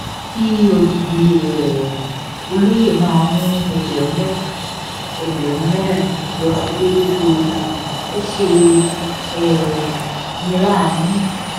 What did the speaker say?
kí odidi um olóye máa mú ẹgbẹ̀rún mẹ́ta ẹgbẹ̀rún mẹ́rin lọ sílẹ̀ lóṣooṣù ò ṣe um ní láàánú